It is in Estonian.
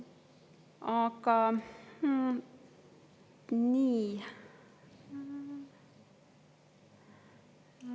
Aga nii.